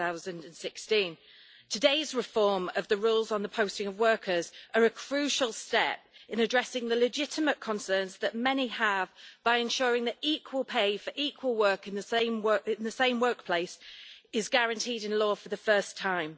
2016. Today's reform of the rules on the posting of workers is a crucial step in addressing the legitimate concerns that many have, by ensuring that equal pay for equal work in the same workplace is guaranteed in law for the first time.